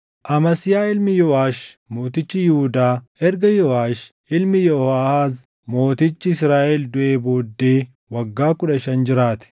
Amasiyaa ilmi Yooʼaash mootichi Yihuudaa erga Yooʼaash ilmi Yehooʼaahaaz mootichi Israaʼel duʼee booddee waggaa kudha shan jiraate.